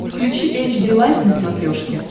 включи эйч ди лайф на смотрешке